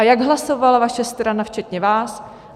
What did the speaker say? A jak hlasovala vaše strana včetně vás?